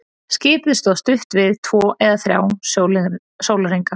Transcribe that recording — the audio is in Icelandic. Skipið stóð stutt við, tvo eða þrjá sólarhringa.